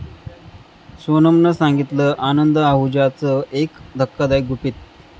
सोनमनं सांगितलं आनंद आहुजाचं एक धक्कादायक गुपित!